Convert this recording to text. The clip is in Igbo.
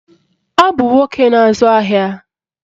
Ọ bụ nwoke na-azụ ahịa